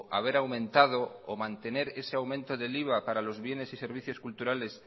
haber aumentado o mantener ese aumento del iva para los bienes y servicios culturales